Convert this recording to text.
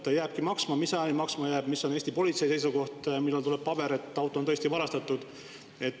Kas ta jääbki maksma, mis ajani ta maksma jääb, mis on Eesti politsei seisukoht, millal tuleb paber, et auto on tõesti varastatud?